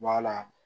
Wala